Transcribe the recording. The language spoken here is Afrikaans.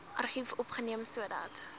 argief opgeneem sodat